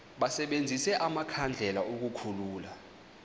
basebenzise amakhandlela ukukhulula